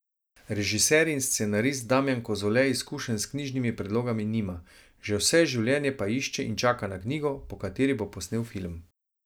Režiser in scenarist Damjan Kozole izkušenj s knjižnimi predlogami nima, že vse življenje pa išče in čaka na knjigo, po kateri bo posnel film.